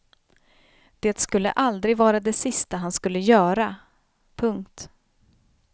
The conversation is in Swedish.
Det skulle aldrig vara det sista han skulle göra. punkt